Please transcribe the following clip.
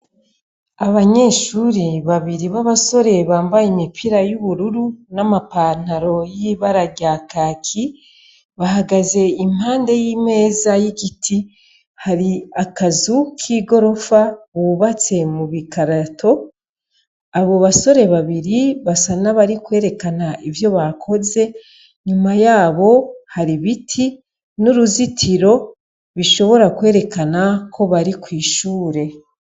Abanyeshuri babiri b'abasore bambaye imipira y'ubururu n'amapantaro y'ibara rya kaki bahagaze impande y'imeza y'igiti hari akazu k'i gorofa bubatse mu bigarato abo basore babiri basa nabari kwereke ana ivyo bakoze nyuma yabo hari ibiti n'uruzitiro bishobora kwerekana ko bari kwishure.